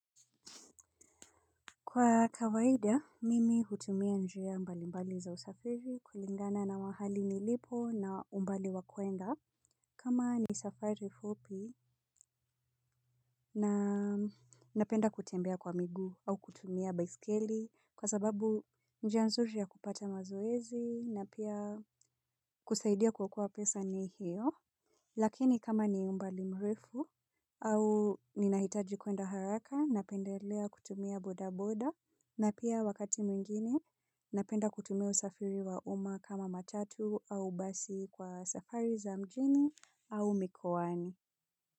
Kwa kawaida, mimi hutumia njia mbali mbali za usafiri kulingana na mahali nilipo na umbali wa kuenda. Kama ni safari fupi na napenda kutembea kwa miguu au kutumia baiskeli kwa sababu njia nzuri ya kupata mazoezi na pia kusaidia kwa kuwa pesa ni hiyo. Lakini kama ni umbali mrefu au ninahitaji kuenda haraka napendelea kutumia bodaboda na pia wakati mwingine napenda kutumia usafiri wa umma kama matatu au basi kwa safari za mjini au mikoani.